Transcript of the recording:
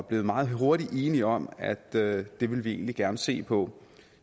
blev meget hurtigt enige om at det det ville vi egentlig gerne se på